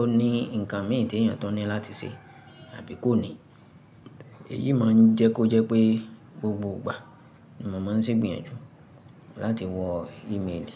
ó ní nǹkan mìíràn tí èèyàn tun ní láti ṣe àbí kò ní. Èyí máa ń jẹ́ kó jẹ́ pé gbogbo ìgbà ni mò máa ń ṣe ìgbìyànjú láti wo ìméèlì.